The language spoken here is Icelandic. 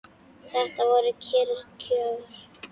Þetta voru kyrr kjör.